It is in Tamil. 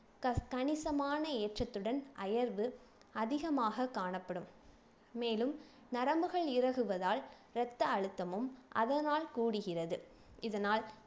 கச கணிசமான ஏற்றத்துடன் அயர்வு அதிகமாக காணப்படும் மேலும் நரம்புகள் இருகுவதால் ரத்த அழுத்தமும் அதனால் கூடுகிறது இதனால்